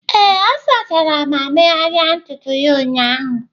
Ee, ọ sachara ma megharịa ntutu ya ụnyahụ